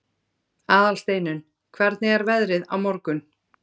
Aðalsteinunn, hvernig er veðrið á morgun?